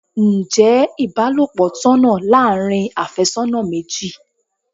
Ǹjẹ́ ibalopo tọ̀nà láàárín afésónà méjì?